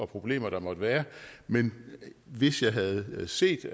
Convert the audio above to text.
problemer der måtte være men hvis jeg havde set